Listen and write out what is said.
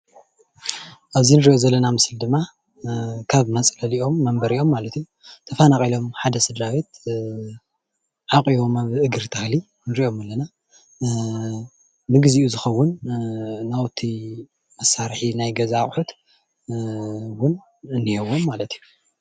ኣብዚ ንሪኦ ዘለና ምስሊ ድማ ካብ መፅለሊኦም መንበሪኦም ማለት እዩ ተፈናቒሎም ሓደ ስድራ ቤት ዓቊቦም ኣብ እግሪ ተኽሊ ንሪኦም ኣለና፡፡ ንግዚኡ ዝኸውን ናውቲ መሳርሒ ናይ ገዛ ኣቑሑት እውን እኒሄዎም ማለት እዩ፡፡